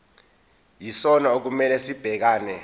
yisona okumele sibhekane